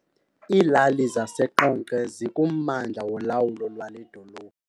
Iilali zaseQonce zikummandla wolawulo lwale dolophu.